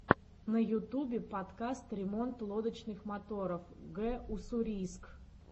на ютубе подкаст ремонт лодочных моторов г уссурийск